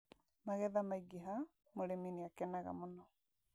Magetha maingĩha, mũrĩmi nĩakenaga mũno